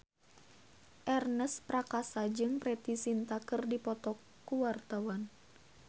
Ernest Prakasa jeung Preity Zinta keur dipoto ku wartawan